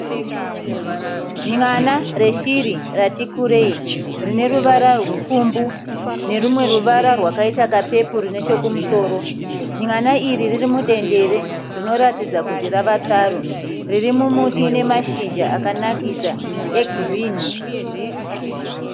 Nyana reshiri ratikurei rine ruvara rupfumbu nerumwe ruvara rwakaita kaperuru nechekumusoro. Nyana iri riri mudendere rinoratidza kuti rava tsaru riri mumuti une mashizha akanakisa egirini.